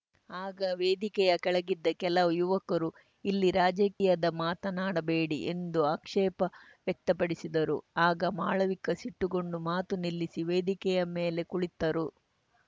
ಆಗ ವೇದಿಕೆಯ ಕೆಳಗಿದ್ದ ಕೆಲ ಯುವಕರು ಇಲ್ಲಿ ರಾಜಕೀಯದ ಮಾತನಾಡಬೇಡಿ ಎಂದು ಆಕ್ಷೇಪ ವ್ಯಕ್ತಪಡಿಸಿದರು ಆಗ ಮಾಳವಿಕಾ ಸಿಟ್ಟುಗೊಂಡು ಮಾತು ನಿಲ್ಲಿಸಿ ವೇದಿಕೆಯ ಮೇಲೆ ಕುಳಿತರು